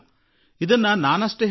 ಇದನ್ನು ನಾನು ಮಾತ್ರ ಹೇಳುತ್ತಿಲ್ಲ